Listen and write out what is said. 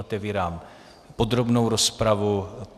Otevírám podrobnou rozpravu.